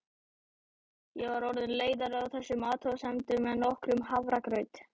Ég var orðin leiðari á þessum athugasemdum en nokkrum hafragraut.